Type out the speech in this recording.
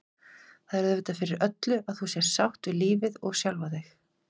Það er auðvitað fyrir öllu að þú sért sátt við lífið og sjálfa þig.